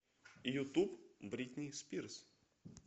ютуб бритни спирс